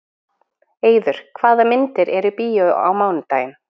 Eiður, hvaða myndir eru í bíó á mánudaginn?